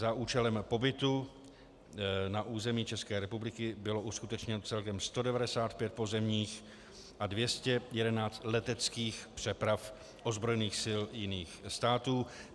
Za účelem pobytu na území České republiky bylo uskutečněno celkem 195 pozemních a 211 leteckých přeprav ozbrojených sil jiných států.